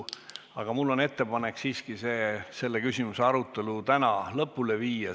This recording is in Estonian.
Mul on ettepanek siiski selle küsimuse arutelu täna lõpule viia.